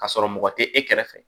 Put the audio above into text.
Ka sɔrɔ mɔgɔ tɛ e kɛrɛfɛ